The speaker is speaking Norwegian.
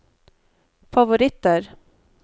favoritter